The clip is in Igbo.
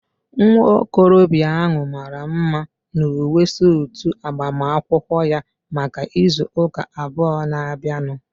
Nwa okorobịa ahu mara mma n'uwe suutu agbamakwụkwọ ya maka ịzụ ụka abụọ na-abịanụ